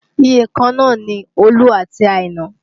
Iyèkan náà ni Olú àti Àìnà